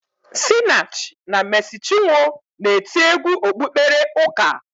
Sinach na Mesi Chinwo na-eti egwu okpukpere ụka